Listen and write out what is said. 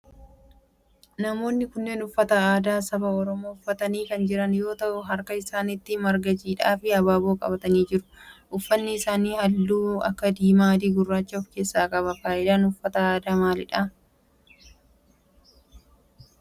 Namoonni kunneen uffata aadaa saba oromoo uffatanii kan jiran yoo ta'u harka isaanitti marga jiidhaa fi abaaboo qabanii jiru. Uffanni isaanii halluu akka diimaa, adii, gurraacha of keessaa qaba. Faayidaan uffata aadaa maalidha?